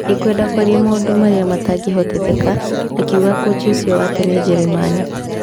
" Ndikwenda kwaria maũndũ marĩa matangĩhotekeka", akiuga kũci ũcio wa tene Njeremani.